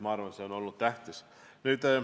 Ma arvan, et see on olnud tähtis.